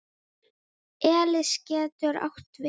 Elis getur átt við